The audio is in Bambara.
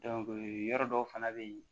yɔrɔ dɔw fana bɛ yen